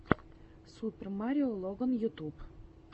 супер марио логан ютуб